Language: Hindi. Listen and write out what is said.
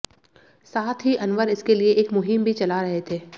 साथ ही अनवर इसके लिए एक मुहीम भी चला रहे थे